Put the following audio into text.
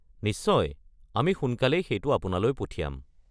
নিশ্চয়, আমি সোনকালেই সেইটো আপোনালৈ পঠিয়াম।